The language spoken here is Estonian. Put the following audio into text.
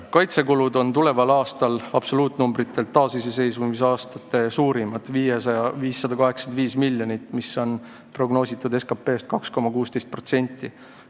Kaitsekulud on tuleval aastal absoluutnäitajatelt taasiseseisvusaastate suurimad: 585 miljonit, mis on prognoositud SKP-st 2,16%.